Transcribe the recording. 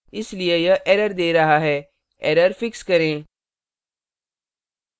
इसलिए यह error let रहा है error fix करें